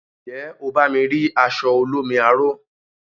Njé o bá mi ri aṣọ olómi aro?